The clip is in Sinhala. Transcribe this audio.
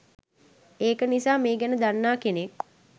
ඒක නිසා මේ ගැන දන්නා කෙනෙක්